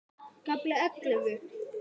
KAFLI ELLEFU